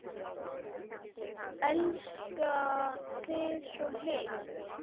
Elska þig svo heitt.